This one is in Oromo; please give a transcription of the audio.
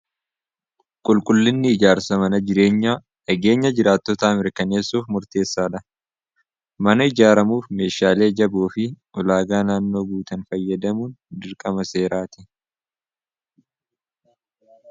qulqullinni ijaarsa mana jireenya nageenya jiraattota a mirkaanesuuf murteessaa dha mana ijaaramuuf meeshaalee jabuu fi ulaagaa naannoo guutan fayyadamuun dirqama seeraati